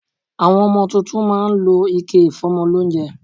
Àwọn ọmọ tuntun má a ń lọ ike ìfómọ lóúnjẹ